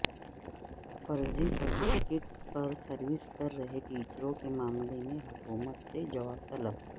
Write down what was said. فرضی سرٹیفکیٹ پر سروس کر رہے ٹیچروں کےمعاملے میں حکومت سے جواب طلب